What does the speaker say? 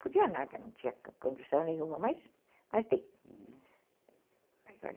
Podia nada, não tinha condição nenhuma, mas dei.